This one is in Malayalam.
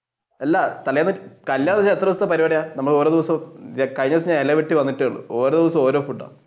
അല്ല തലേന്ന് കല്യാണം എത്ര ദിവസത്തെ പരിപാടിയാണ്